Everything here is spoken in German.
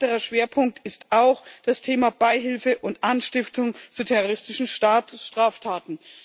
Ein weiterer Schwerpunkt ist auch das Thema Beihilfe und Anstiftung zu terroristischen Straftaten.